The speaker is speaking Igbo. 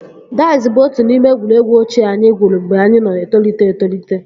Daiz bụ otu n'ime egwuregwu ochie anyị gwuru mgbe anyị na-etolite etolite